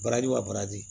Baraji wa baraji